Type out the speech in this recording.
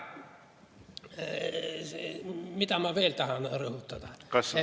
Mida ma veel tahan rõhutada?